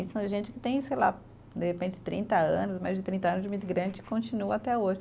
Isso é gente que tem, sei lá, de repente trinta anos, mais de trinta anos de imigrante e continua até hoje.